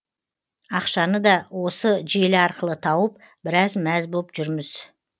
ақшаны да осы желі арқылы тауып біраз мәз боп жүрміз